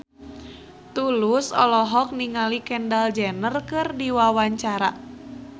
Tulus olohok ningali Kendall Jenner keur diwawancara